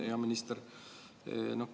Hea minister!